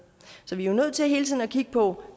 så vi er jo nødt til hele tiden at kigge på